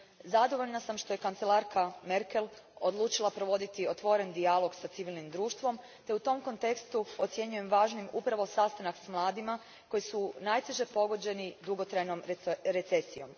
Zadovoljna sam što je kancelarka Merkel odlučila provoditi otvoren dijalog s civilnim društvom, te u tom kontekstu ocjenjujem važnim upravo sastanak s mladima koji su najteže pogođeni dugotrajnom recesijom.